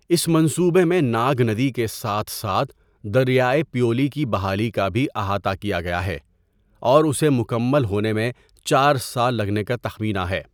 اس منصوبے میں ناگ ندی کے ساتھ ساتھ دریائے پیولی کی بحالی کا بھی احاطہ کیا گیا ہے اور اسے مکمل ہونے میں چار سال لگنے کا تخمینہ ہے۔